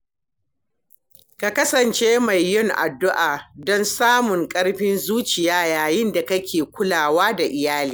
Ka kasance mai yin addu'a don samun ƙarfin zuciya yayin da kake kulawa da iyali.